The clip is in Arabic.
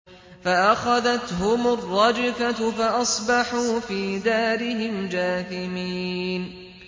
فَأَخَذَتْهُمُ الرَّجْفَةُ فَأَصْبَحُوا فِي دَارِهِمْ جَاثِمِينَ